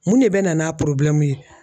Mun de bɛ na n'a ye?